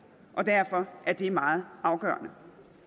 og derfor er det meget afgørende